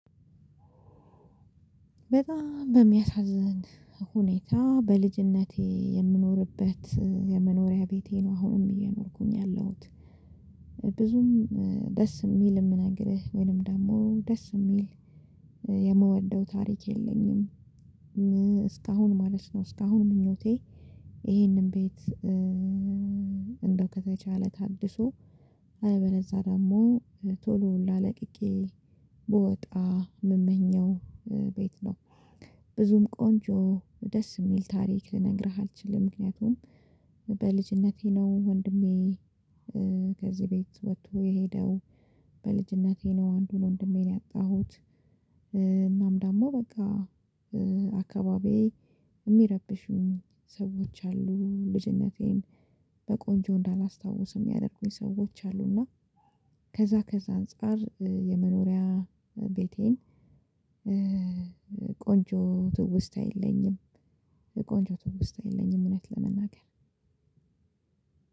በጣም በሚያሳዝን ሁኔታ በልጅነቴ የምኖርበት የመኖሪያ ቤቴ ነው አሁንም እየኖርኩኝ ያለሁት። ብዙም ደስ የሚል የምነግርህ ወይንም ደግሞ ደስ የሚል የምወደው ታሪክ የለኝም። እስካሁን ማለት ነው። እስካሁን ምኞቴ ይሄንን ቤት። እንደው ከተቻለ ታድሶ አለበለዛ ደግሞ ቶሎ ሁላ ለቅቄ ብወጣ ምመኘው ቤት ነው። ብዙም ቆንጆ ደስ የሚል ታሪክ ልነግርህ አልችልም ምክንያቱም። በልጅነቴ ነው ወንድሜ ከዚህ ቤት ወጥቶ የሄደው፣ በልጅነቴ ነው አንዱን ወንድሜ ነው ያጣሁት፣ እናም ደግሞ በቃ አካባቢዬ የሚረብሹኝ ሰዎች አሉ። ልጅነቴን በቆንጆ እንዳላስታው የሚያደርጉኝ ሰዎች አሉና። ከዛ ከዛ አንፃር የመኖሪያ ቤቴን ቆንጆ ትውስታ የለኝም። ቆንጆ ትውስታ የለኝም እውነት ለመናገር